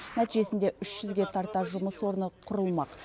нәтижесінде үш жүзге тарта жұмыс орны құрылмақ